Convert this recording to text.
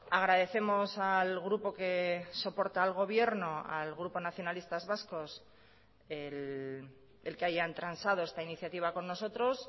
agradecemos al grupo que soporta al gobierno al grupo nacionalistas vascos el que hayan transado esta iniciativa con nosotros